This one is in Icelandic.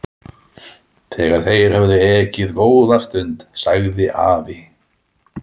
Þegar þeir höfðu ekið góða stund sagði afi